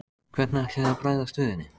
Hvernig ætlið þið að bregðast við henni?